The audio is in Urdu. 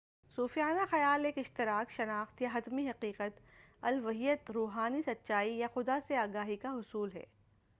صوفیانہ خیال ایک اشتراک شناخت یا حتمی حقیقت الوہیت روحانی سچائی یا خدا سے آگاہی کا حصول ہے